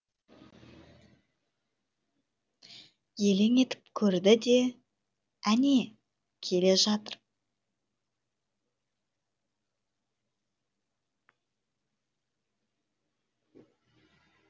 елең етіп көрді де әне келе жатыр